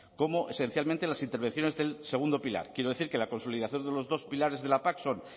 como esencialmente en las intervenciones del segundo pilar quiero decir que la consolidación de los dos pilares de la pac son